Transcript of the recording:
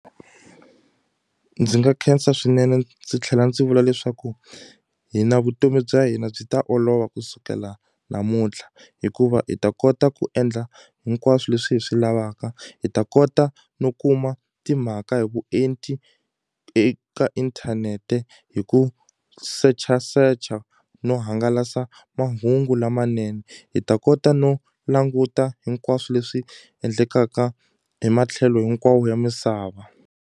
Ndzi nga khensa swinene ndzi tlhela ndzi vula leswaku hi na vutomi bya hina byi ta olova kusukela namuntlha hikuva hi ta kota ku endla hinkwaswo leswi hi swi lavaka hi ta kota no kuma timhaka hi vuenti eka inthanete hi ku search-a search-a no hangalasa mahungu lamanene hi ta kota no languta hinkwaswo leswi endlekaka hi matlhelo hinkwawo ya misava.